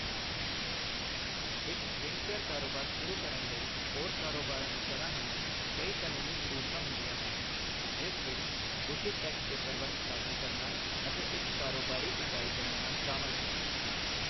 ਇੱਕ ਸਕਿਨਕੇਅਰ ਕਾਰੋਬਾਰ ਸ਼ੁਰੂ ਕਰਨ ਲਈ ਹੋਰ ਕਾਰੋਬਾਰਾਂ ਦੀ ਤਰ੍ਹਾਂ ਹੀ ਕਈ ਕਾਨੂੰਨੀ ਜ਼ਰੂਰਤਾਂ ਹੁੰਦੀਆਂ ਹਨ, ਜਿਸ ਵਿੱਚ ਉਚਿਤ ਟੈਕਸ ਪੇਪਰਵਰਕ ਦਾਖਲ ਕਰਨਾ ਅਤੇ ਇੱਕ ਕਾਰੋਬਾਰੀ ਇਕਾਈ ਬਣਾਉਣਾ ਸ਼ਾਮਿਲ ਹੈ।